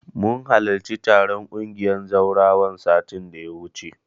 Mun halarci taron ƙungiyar zawarawan, satin da ya wuce.